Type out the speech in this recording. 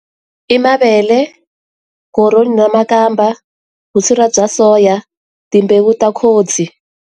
I mavele, koroni na makamba, vusira bya soya, timbewu ta khodzi.